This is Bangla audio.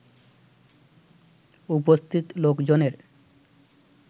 উপস্থিত লোকজনের